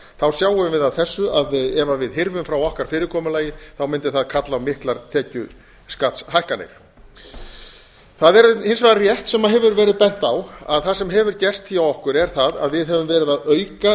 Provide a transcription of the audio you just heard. þá sjáum við af þessu að ef við hyrfum frá okkar fyrirkomulagi mundi það kalla á miklar tekjuskattshækkanir það er hins vegar rétt sem hefur verið bent á að það sem hefur gerst hjá okkur er það að við höfum verið að auka